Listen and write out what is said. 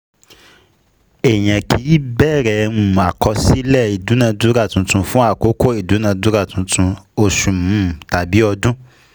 Èèyàn kì í bẹ̀rẹ̀ um àkọsílẹ̀ ìdúnadúrà tuntun fún àkókò ìdúnadúrà tuntun (oṣù um tàbí ọdún).